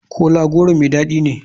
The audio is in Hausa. Kola goro mai dadi ne?